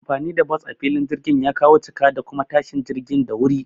Anfani da bas a filin jirgin ya kawo cika da kuma tashin jirgin da wuri